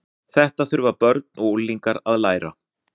Þetta þurfa börn og unglingar að læra.